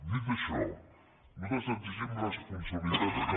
dit això nosaltres exigim responsabilitat també